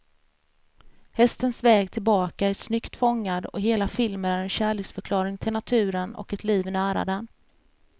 Hästens väg tillbaka är snyggt fångad, och hela filmen är en kärleksförklaring till naturen och ett liv nära den.